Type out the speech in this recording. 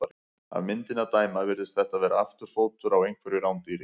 Af myndinni að dæma virðist þetta vera afturfótur á einhverju rándýri.